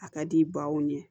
A ka di baw ye